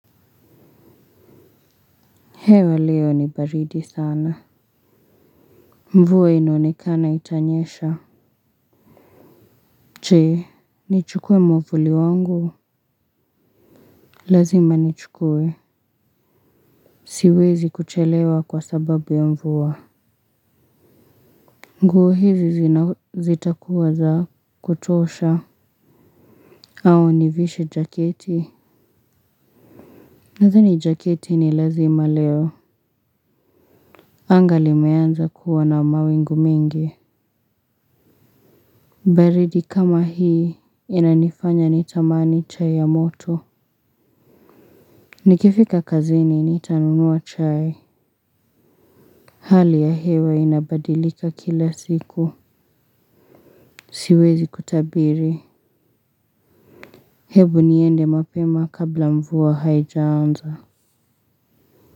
Hewa leo ni baridi sana. Mvua inaonekana itanyesha. Je, nichukue mwavuli wangu? Lazima nichukue. Siwezi kuchelewa kwa sababu ya mvua. Nguo hizi zitakuwa za kutosha. Au nivishe jaketi? Nadhani jaketi ni lazima leo. Anga limeanza kuwa na mawingu mengi. Baridi kama hii inanifanya nitamani chai ya moto. Nikifika kazini nitanunua chai. Hali ya hewa inabadilika kila siku. Siwezi kutabiri. Hebu niende mapema kabla mvua haijaanza.